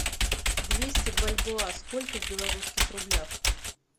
двести бальбоа сколько в белорусских рублях